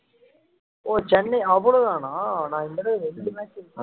ஓ சென்னை அவ்வளவுதானா நான் இன்னும் இரண்டு match இருக்குன்னு